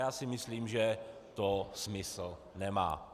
Já si myslím, že to smysl nemá.